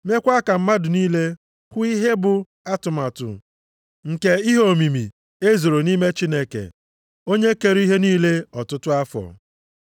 meekwa ka mmadụ niile hụ ihe bụ atụmatụ nke ihe omimi e zoro nʼime Chineke onye kere ihe niile, ọtụtụ afọ.